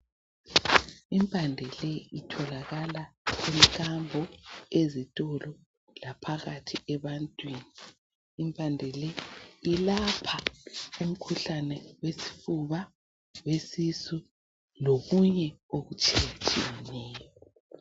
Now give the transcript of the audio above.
Impande le itholakala emkambo, ezitolo laphakathi ebantwini. Impande le ilapha umkhuhlane wesifuba ,wesisu lokunye okutshiyetshiyeneyo.